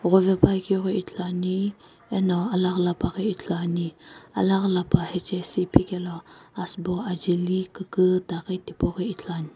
ghovepuakeu ghi ithuluani eno alaghi lapa ghi ithuluani alaghi lapa hechesu iphikelo asubo ajeli kukuta tipau ghi ithuluani.